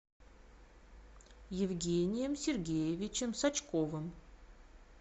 евгением сергеевичем сачковым